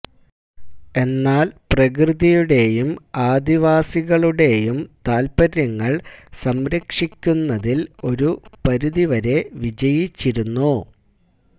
എന്നാല് പ്രകൃതിയുടെയും ആദിവാസികളുടെയും താത്പര്യങ്ങള് സംരക്ഷിക്കുന്നതില് ഒരു പരിധിവരെ വിജയിച്ചിരുന്നു